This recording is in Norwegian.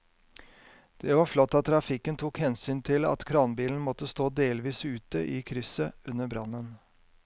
Det var flott at trafikken tok hensyn til at kranbilen måtte stå delvis ute i krysset under brannen.